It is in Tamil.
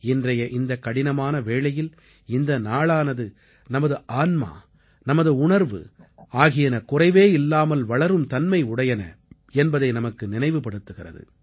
இன்றைய இந்தக் கடினமான வேளையில் இந்த நாளானது நமது ஆன்மா நமது உணர்வு ஆகியன குறைவே இல்லாமல் வளரும் தன்மை உடையன என்பதை நமக்கு நினைவுபடுத்துகிறது